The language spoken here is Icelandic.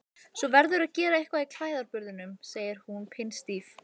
Svo verðurðu að gera eitthvað í klæðaburðinum, segir hún pinnstíf.